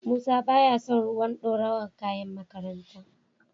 Musa baya son ruwan dorawar kayan makaranta.